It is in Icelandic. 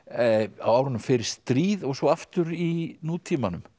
á árunum fyrir stríð og svo aftur í nútímanum